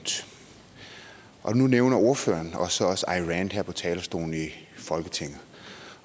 og nu nævner ordføreren så også ayn rand her på folketingets talerstol